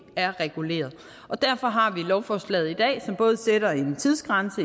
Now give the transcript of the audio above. er reguleret derfor har vi lovforslaget i dag som både sætter en tidsgrænse